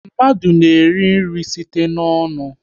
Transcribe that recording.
Mmadụ na-eri nri site n'ọnụ